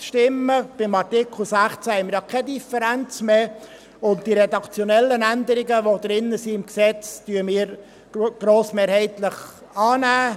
Beim Artikel 16 haben wir ja keine Differenz mehr, und die redaktionellen Änderungen, die das Gesetz noch enthält, nehmen wir grossmehrheitlich an.